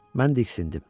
Mən diksindim.